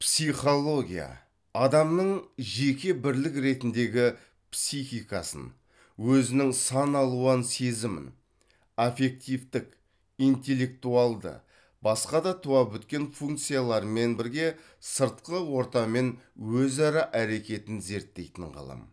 психология адамның жеке бірлік ретіндегі психикасын өзінің сан алуан сезімін аффективтік интеллектуалды басқа да туа біткен функцияларымен бірге сыртқы ортамен өзара әрекетін зерттейтін ғылым